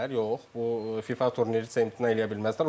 Yox, bu FIFA turniridirsə imtina edə bilməzlər.